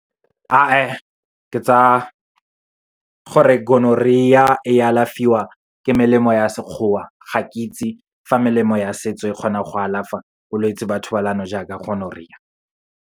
A e, ke tsa gore Gonorrhea e alafiwa ke melemo ya Sekgowa, ga ke itse fa melemo ya setso e kgona go alafa bolwetsi ba thobalano jaaka Gonorrhea.